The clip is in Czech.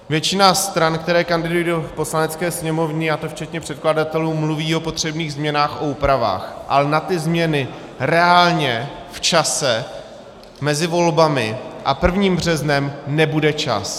Většina stran, které kandidují do Poslanecké sněmovny, a to včetně předkladatelů, mluví o potřebných změnách a úpravách, ale na ty změny reálně v čase mezi volbami a 1. březnem nebude čas.